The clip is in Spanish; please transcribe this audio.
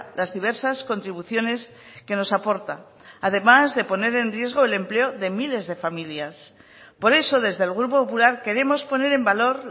las diversas contribuciones que nos aporta además de poner en riesgo el empleo de miles de familias por eso desde el grupo popular queremos poner en valor